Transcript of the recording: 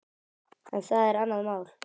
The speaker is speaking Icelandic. En það er annað mál.